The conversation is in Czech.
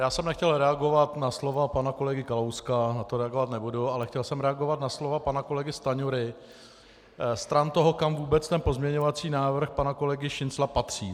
Já jsem nechtěl reagovat na slova pana kolegy Kalouska, na to reagovat nebudu, ale chtěl jsem reagovat na slova pana kolegy Stanjury stran toho, kam vůbec ten pozměňovací návrh pana kolegy Šincla patří.